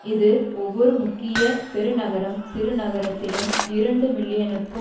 இது ஒவ்வொரு முக்கிய பெருநகரம் சிறுநகரத்திலும் இரண்டு மில்லியனுக்கும்